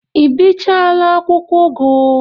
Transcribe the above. Ị bichaala akwụkwọ ugu?